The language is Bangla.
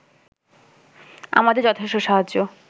আমাদের যথেষ্ট সাহায্য